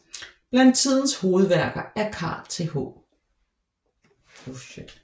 Blandt tidens hovedværker er Carl Th